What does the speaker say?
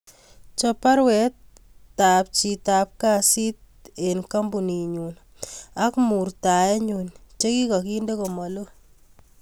Chop baruetap en chitab kasit eb kambuninyun ak murtainyun chigigaginde komalo